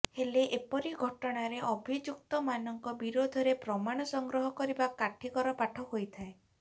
ହେଲେ ଏପରି ଘଟଣାରେ ଅଭିଯୁକ୍ତମାନଙ୍କ ବିରୋଧରେ ପ୍ରମାଣ ସଂଗ୍ରହ କରିବା କାଠିକର ପାଠ ହୋଇଥାଏ